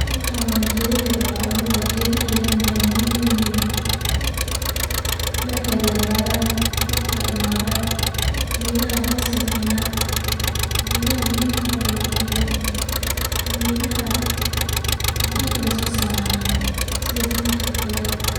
Waxan waa geeda yar oo la awuraay ,gedaha yar maxey muhiim u yihiin ,markey dhadheradaan robkaa imadaa, gedaha hoos ay kenaan ,gedaha muhim fara badan ay leyihiin ,gedaha cunta hataa wey soo saranaa sida fruit ka oo kale.